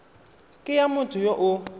ke ya motho yo o